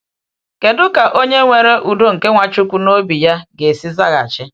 Kedu ka onye nwere udo nke Nwachukwu n’obi ya ga-esi zaghachi?